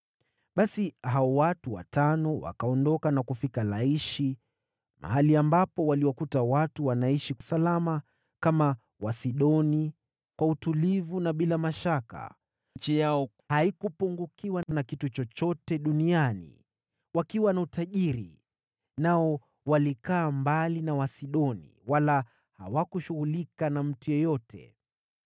Basi hao watu watano wakaondoka na kufika Laishi, mahali ambapo waliwakuta watu wanaishi salama, kama Wasidoni, kwa utulivu na bila mashaka. Nchi yao haikupungukiwa na kitu chochote, hivyo wakawa tajiri. Pia walikaa mbali sana na Wasidoni, wala hawakushughulika na mtu yeyote.